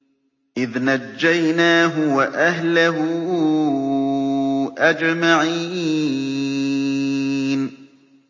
إِذْ نَجَّيْنَاهُ وَأَهْلَهُ أَجْمَعِينَ